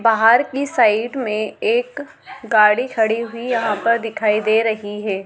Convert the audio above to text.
बहार की साइड में एक गाड़ी खड़ी हुई यहा पर दिखाई दे रही है।